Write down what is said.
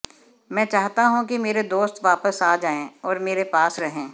मैं चाहता हूं कि मेरे दोस्त वापस आ जाएं और मेरे पास रहें